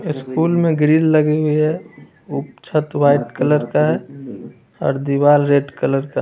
school में grill लगी हुई है ऊ छत व्हाइट कलर का है और दीवाल रेड कलर का --